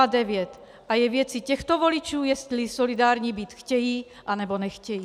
A je věcí těchto voličů, jestli solidární být chtějí, anebo nechtějí.